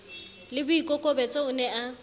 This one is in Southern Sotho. le boikokobetso o ne a